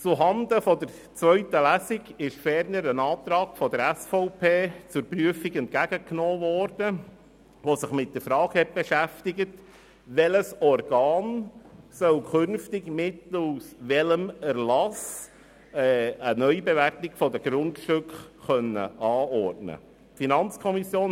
Zuhanden der zweiten Lesung wurde ferner ein Antrag der SVP zur Prüfung entgegengenommen, der sich mit der Frage beschäftigt, welches Organ in Zukunft Mittel aus welchem Erlass für eine Neubewertung der Grundstücke anordnen können solle.